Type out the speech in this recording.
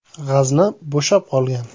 G‘azna bo‘shab qolgan.